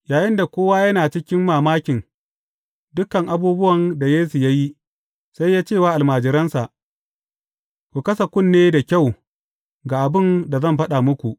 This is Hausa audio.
Yayinda kowa yana cikin mamakin dukan abubuwan da Yesu ya yi, sai ya ce wa almajiransa, Ku kasa kunne da kyau ga abin da zan faɗa muku.